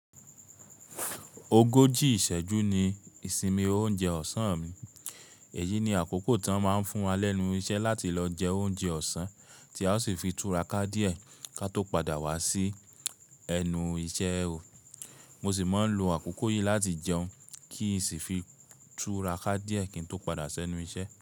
Ogoji ìṣẹ́jú ni ìsinmi oúnjẹ ọ̀sán mi. Èyí ni àkókò tí wọ́n máa ń fún wa lẹ́nu iṣẹ́ láti lọ jẹ oúnjẹ ọ̀sán, tí a ó sì fi túra ká díẹ̀ ká tó padà wá sí ẹnu iṣẹ́ oo. Mo sì máa ń lo àkókò yìí láti jẹun kí n sì fi túra ká díẹ̀ kín tó padà ṣẹ́nu iṣẹ́